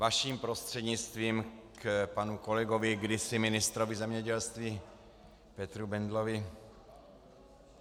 Vaším prostřednictvím k panu kolegovi, kdysi ministru zemědělství, Petru Bendlovi.